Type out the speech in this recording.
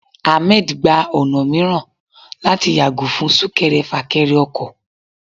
Ahmed gba ọna miiran latí yagò fún sunkẹrẹ-fakẹrẹ ọkọ.